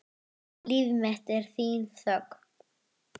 Þín Anna Döggin.